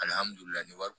ni wari